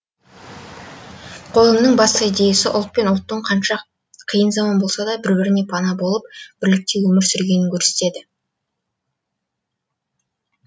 қойылымның басты идеясы ұлт пен ұлттың қанша қиын заман болса да бір біріне пана болып бірлікте өмір сүргенін көрсетеді